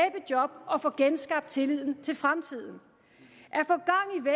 job og få genskabt tilliden til fremtiden